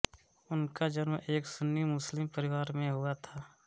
उनका जन्म एक सुन्नी मुस्लिम परिवार में हुआ था